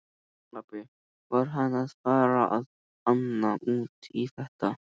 Api var hann að fara að ana út í þetta!